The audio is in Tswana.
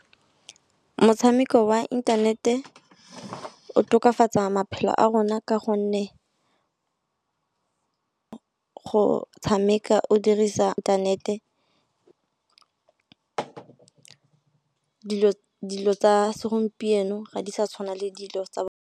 Motshameko wa inthanete o tokafatsa maphelo a rona, ka gonne go tshameka o dirisa inthanete dilo tsa segompieno ga di sa tshwana le dilo tsa .